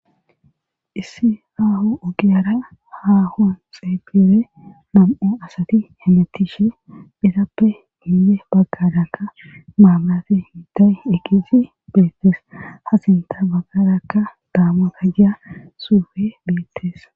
issi aaho ogiyara haahon xeepire mam7u asati hemetishe phitappe hiile baggadakka maamaaafi hintay eqizi beettes hasinta baggarakka daama gajjia suufe beettesa